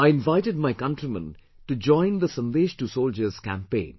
I invited my countrymen to join the 'Sandesh to Soldiers' campaign